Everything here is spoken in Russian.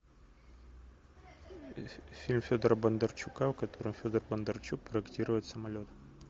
фильм федора бондарчука в котором федор бондарчук проектирует самолет